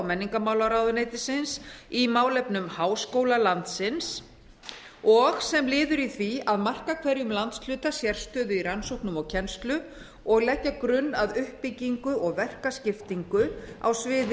menningarmálaráðuneytis í málefnum háskóla landsins og sem liður í því að a marka hverjum landshluta sérstöðu í rannsóknum og kennslu og b leggja grunn að uppbyggingu og verkaskiptingu á sviði